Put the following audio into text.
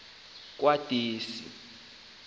kwadwesi